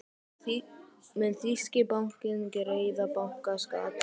Mun þýski bankinn greiða bankaskatt?